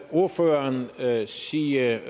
ordføreren sige